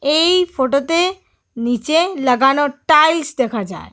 এই ফটোতে নীচে লাগানো টাইলস দেখা যায়।